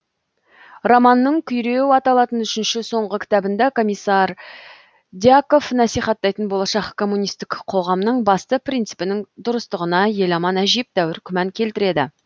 романның күйреу аталатын үшінші соңғы кітабында комиссар дьяков насихаттайтын болашақ коммунистік қоғамның басты принципінің дұрыстығына еламан әжептәуір күмән келтіреді